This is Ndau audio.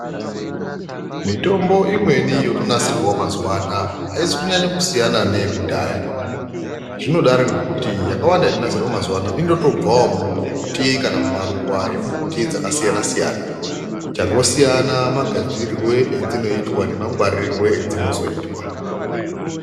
Mitombo imweni yotonasirwawo mazuwa anaa aizi kunyanye kusiyana neyekudhaya. Zvinodaro ngekuti yakawanda inonasirwa mazuwa ano inotobvawo mumbuti kana mumaruwa emumbuti dzakasiyana siyana. Changosiyana magadzirirwe edzinoitwa nemangwaririrwe edzinozoitwa.